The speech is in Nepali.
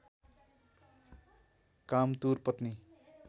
कामतुर पत्नी